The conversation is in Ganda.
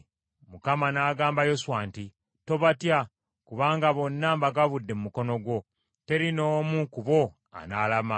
Mukama n’agamba Yoswa nti, “Tobatya kubanga bonna mbagabudde mu mukono gwo, teri n’omu ku bo anaalama.”